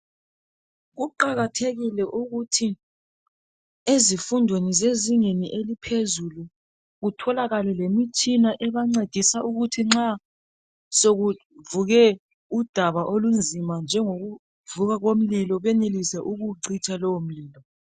Kuqakathekile ukuthi ezifundweni zezingeni eliphezulu kutholakale lemitshina ebancedisayo ukuthi nxa sokuvuke udaba olunzima njengoku vuka komlilo benelise ukucitsha lowo mlilo